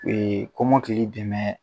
kɔmɔkili dɛmɛ